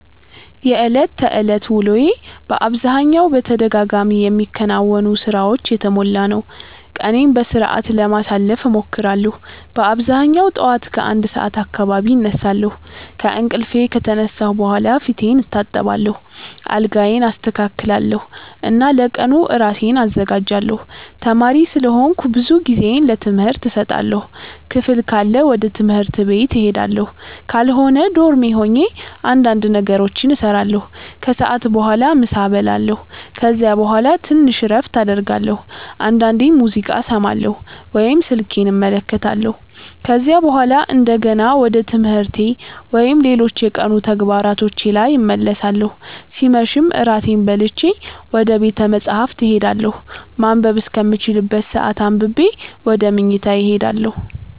የዕለት ተዕለት ውሎዬ በአብዛኛው በተደጋጋሚ የሚከናወኑ ሥራዎች የተሞላ ነው። ቀኔን በሥርዓት ለማሳለፍ እሞክራለሁ በአብዛኛው ጠዋት ከ1 ሰዓት አካባቢ እነሳለሁ። ከእንቅልፌ ከተነሳሁ በኋላ ፊቴን እታጠባለሁ፣ አልጋዬን አስተካክላለሁ እና ለቀኑ ራሴን አዘጋጃለሁ። ተማሪ ስለሆንኩ ብዙ ጊዜዬን ለትምህርት እሰጣለሁ። ክፍል ካለ ወደ ትምህርት ቤት እሄዳለሁ፣ ካልሆነ ዶርሜ ሆኜ እንዳንድ ነገሮችን እሰራለሁ። ከሰዓት በኋላ ምሳ እበላለሁ ከዚያ በኋላ ትንሽ እረፍት አደርጋለሁ፣ አንዳንዴም ሙዚቃ እሰማለሁ ወይም ስልኬን እመለከታለሁ። ከዚያ በኋላ እንደገና ወደ ትምህርቴ ወይም ሌሎች የቀኑ ተግባሮቼ ላይ እመለሳለሁ ሲመሽም እራቴን በልቼ ወደ ቤተ መፃህፍት እሄዳለሁ ማንበብ እስከምችልበት ሰአት አንብቤ ወደ መኝታዬ እሄዳለሁ።